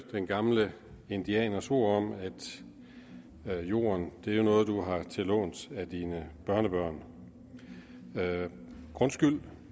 den gamle indianers ord om at at jorden er noget du har til låns af dine børnebørn grundskyld